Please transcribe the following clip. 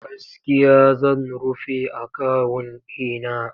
Gaskiya zan rufe akawun ɗi na.